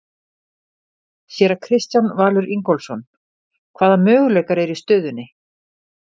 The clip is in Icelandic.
Séra Kristján Valur Ingólfsson: Hvaða möguleikar eru í stöðunni?